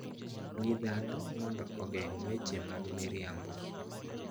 Gi dhano mondo ogeng' weche mag miriambo